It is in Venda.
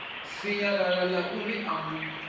sinyalala ḽa ri u mu